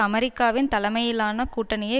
அமெரிக்காவின் தலைமையிலான கூட்டணியை